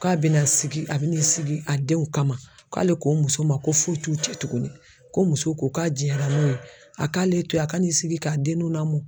K'a bɛna sigi a bin'i sigi a denw kama k'ale ko muso ma ko foyi t'u cɛ tuguni ko muso ko k'a jɛra n'o ye a k'ale to yen a ka n'i sigi k'a denninw lamɔ.